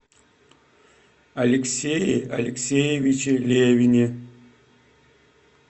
алексее алексеевиче левине